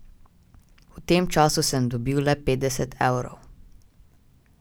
V tem času sem dobil le petdeset evrov.